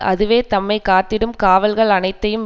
அதுவே தம்மை காத்திடும் காவல்கள் அனைத்தையும்